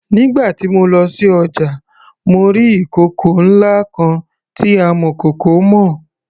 Nígbà tí mo lọ sí ọjà mo rí ìkòkò ńlá kan tí amọ̀kòkò mọ.